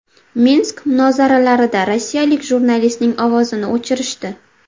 Minsk muzokaralarida rossiyalik jurnalistning ovozini o‘chirishdi .